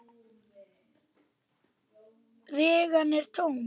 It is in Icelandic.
Vaggan er tóm.